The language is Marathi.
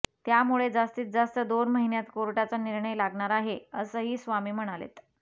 त्यामुळे जास्तीजास्त दोन महिन्यात कोर्टाचा निर्णय लागणार आहे असंही स्वामी म्हणालेत